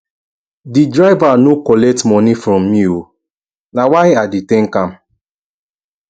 di driver no collect moni from me o na why i dey tank am